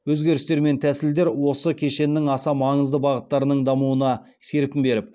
өзгерістер мен тәсілдер осы кешеннің аса маңызды бағыттарының дамуына серпін беріп